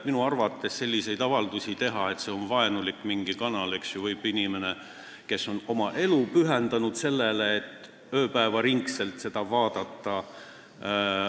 Minu arvates selliseid avaldusi, et see on vaenulik kanal, võib teha inimene, kes on oma elu pühendanud selle ööpäevaringsele vaatamisele.